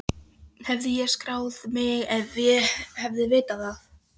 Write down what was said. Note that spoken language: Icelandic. Hefði ég skráð mig ef ég hefði vitað það?